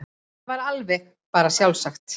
Það var bara alveg sjálfsagt.